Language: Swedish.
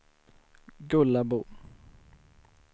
Gullabo